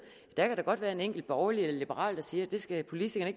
at der da godt kan være en enkelt borgerlig eller liberal der siger at det skal politikerne